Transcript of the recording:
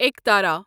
ایکٹرا